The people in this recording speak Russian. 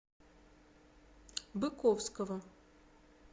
быковского